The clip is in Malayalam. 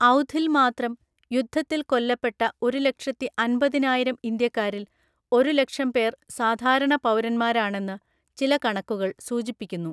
ഔധിൽമാത്രം യുദ്ധത്തിൽ കൊല്ലപ്പെട്ട ഒരുലക്ഷത്തിൻപതിനായിരം ഇന്ത്യക്കാരിൽ ഒരുലക്ഷം പേർ സാധാരണപൗരന്മാരാണെന്ന് ചില കണക്കുകൾ സൂചിപ്പിക്കുന്നു.